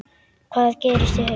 Hvað gerist í haust?